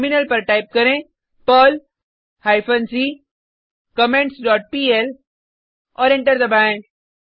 terminal पर type करें Perl hyphen c comments dot pl और एंटर दबाएँ